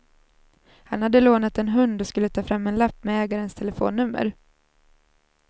Han hade lånat en hund och skulle ta fram en lapp med ägarens telefonnummer.